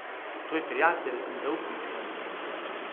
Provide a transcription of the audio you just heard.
Tvoj prijatelj in zaupnik sem.